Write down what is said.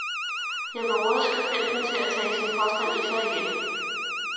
Jeg vil råde skribenten til at tage sin påstand i sig igen.